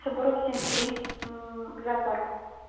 сабурова семьдесят три м к зоопарку